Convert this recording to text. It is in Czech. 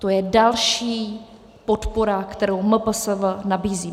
To je další podpora, kterou MPSV nabízí.